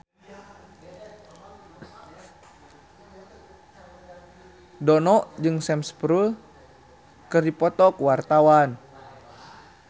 Dono jeung Sam Spruell keur dipoto ku wartawan